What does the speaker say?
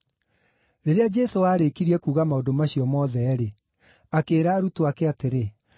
Rĩrĩa Jesũ aarĩkirie kuuga maũndũ macio mothe-rĩ, akĩĩra arutwo ake atĩrĩ,